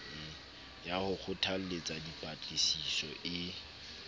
ya ho kgothalletsa dipatlisiso e